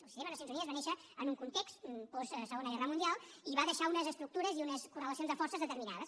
el sistema de nacions unides va néixer en un context post segona guerra mundial i va deixar unes estructures i unes correlacions de forces determinades